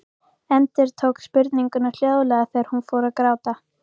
Endurtók spurninguna hljóðlega þegar hún fór að gráta.